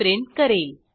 print करेल